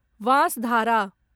Vansadhara